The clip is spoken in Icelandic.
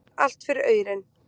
Allt fyrir aurinn.